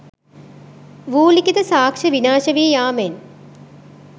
වූ ලිඛිත සාක්ෂි විනාශවී යාමෙන්